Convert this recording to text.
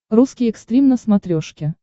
русский экстрим на смотрешке